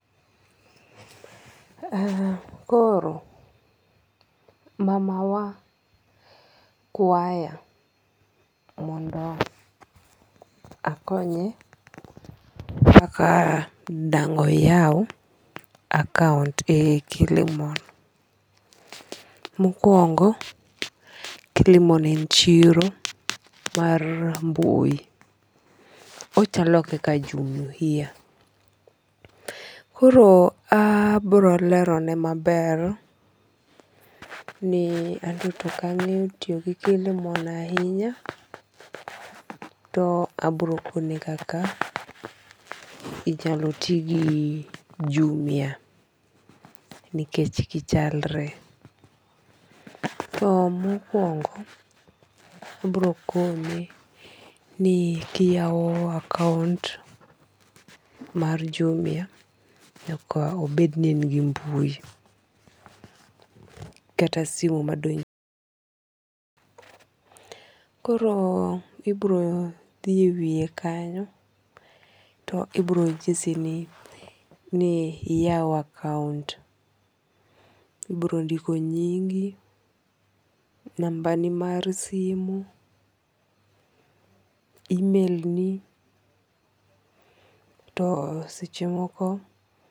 Koro mama wa kwaya mondo akonye kaka dang' oyaw akount e Kilimall. Mokwongo Kilimall en chiro mar mbui. Ochalo kaka Jumia. Koro abiro lero ne maber ni anto tok ang'eyo tiyo gi Kilimall ahinya to abiro kone kaka inyalo ti gi Jumia nikech gichalre. To mokwongo abiro kone ni kiyawo akount mar Jumia nyaka obed ni en gi mbui kata simu madonjo. Koro ibiro dhi e wiye kanyo to ibiro nyisi ni iyaw akount. Ibiro ndiko nyingi, namba ni mar simo, email ni. To seche moko.